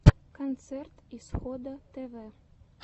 концерт исхода тв